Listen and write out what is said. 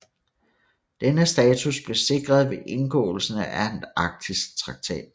Denne status blev sikret ved indgåelsen af Antarktistraktaten